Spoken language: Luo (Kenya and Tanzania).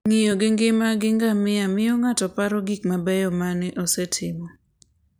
Ng'iyo gi ngima gi ngamia miyo ng'ato paro gik mabeyo ma nosetimo.